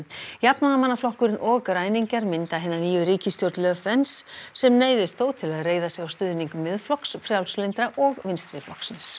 jafnaðarmannaflokkurinn og græningjar mynda hina nýju ríkisstjórn sem neyðist þó til að reiða sig á stuðning Miðflokks frjálslyndra og